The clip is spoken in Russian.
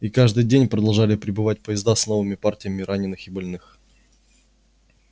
и каждый день продолжали прибывать поезда с новыми партиями раненых и больных